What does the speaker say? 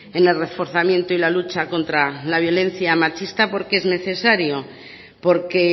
en el reforzamiento y la lucha contra la violencia machista porque es necesario porque